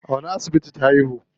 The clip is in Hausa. A wani asibiti ta haihu?